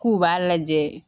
K'u b'a lajɛ